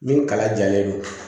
Min kala jalen don